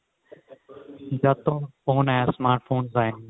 ਜਦ ਤੋਂ phone ਆਏ ਏ smart phones ਆਏ